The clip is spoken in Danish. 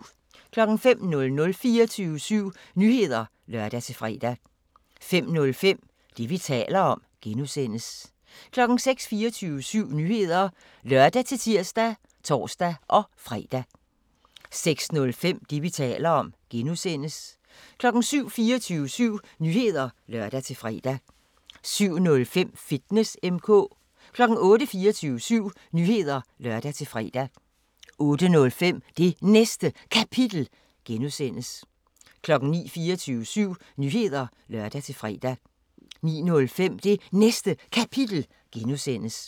05:00: 24syv Nyheder (lør-fre) 05:05: Det, vi taler om (G) 06:00: 24syv Nyheder (lør-tir og tor-fre) 06:05: Det, vi taler om (G) 07:00: 24syv Nyheder (lør-fre) 07:05: Fitness M/K 08:00: 24syv Nyheder (lør-fre) 08:05: Det Næste Kapitel (G) 09:00: 24syv Nyheder (lør-fre) 09:05: Det Næste Kapitel (G)